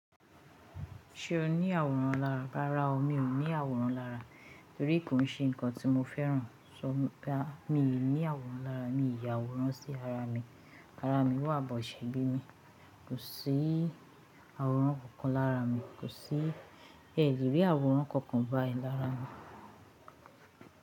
Ṣẹ ni àwòrán lára? Rárá o, mi ò ní àwòrán lára. Torí kò ń ṣe ǹkan tí mo fẹ́ràn. Sọ ọ́ bá mi, mi ò ní àwòrán lára. Mi yàwòrán sí ara mi. Ara mi wà bọ̀ ṣe bimi. Kò sí àwòrán kankan lára mi. Kò sí ẹ́ lerí àwòrán kankan bá ì lára mi.